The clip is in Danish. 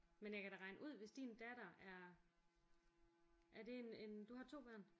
Men jeg kan da regne ud hvis din datter er er det en en du har 2 børn?